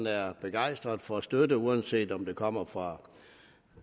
er begejstret for støtte uanset om den kommer fra